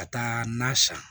Ka taa na san